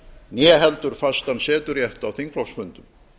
né heldur fastan seturétt á þingflokksfundum